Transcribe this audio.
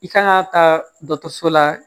I kan ka taa dɔso la